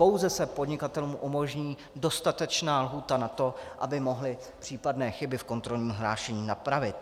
Pouze se podnikatelům umožní dostatečná lhůta na to, aby mohli případné chyby v kontrolním hlášení napravit.